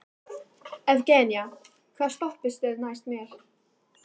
Evgenía, hvaða stoppistöð er næst mér?